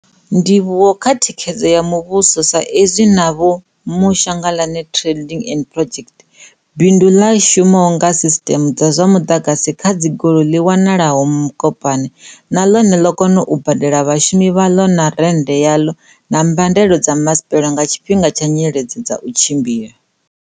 Ndivhuwo kha thikhedzo ya muvhuso saizwi na Ma-moshalagae Trading and Projects, bindu ḽi shumaho nga sisiṱeme dza zwa muḓagasi kha dzigoloi ḽi wanalaho Mokopane, na ḽone ḽo kona u badela vhashumi vhaḽo na rennde yaḽo na mbadelo dza masipala nga tshifhinga tsha nyiledzo dza u tshimbila.